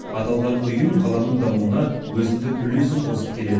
аталған ұйым қаланың дамуына өзіндік үлесін қосып келеді